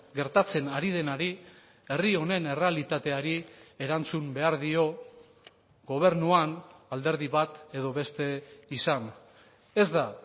gertatzen ari denari herri honen errealitateari erantzun behar dio gobernuan alderdi bat edo beste izan ez da